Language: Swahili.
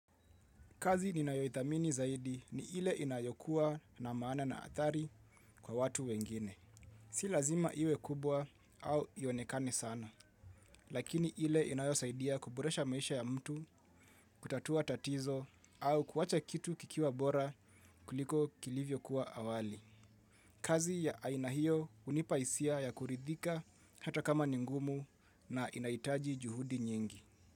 Kazi ninayoithamini zaidi ni ile inayokua na maana na athari kwa watu wengine. Si lazima iwe kubwa au ionekani sana, lakini ile inayosaidia kuboresha maisha ya mtu, kutatua tatizo au kuwacha kitu kikiwa bora kuliko kilivyo kuwa awali. Kazi ya aina hio hunipa hisia ya kuridhika hata kama ni ngumu na inahitaji juhudi nyingi.